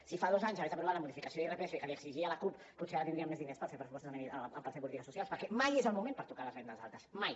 si fa dos anys hagués aprovat la modificació d’irpf que li exigia la cup potser ara tindríem més diners per fer pressupostos o per fer polítiques socials perquè mai és el moment per tocar les rendes altes mai